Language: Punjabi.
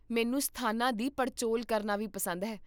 ਮੈਨੂੰ ਸਥਾਨਾਂ ਦੀ ਪੜਚੋਲ ਕਰਨਾ ਵੀ ਪਸੰਦ ਹੈ